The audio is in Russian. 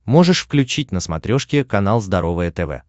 можешь включить на смотрешке канал здоровое тв